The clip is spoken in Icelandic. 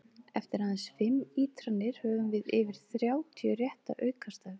Eftir aðeins fimm ítranir höfum við yfir þrjátíu rétta aukastafi!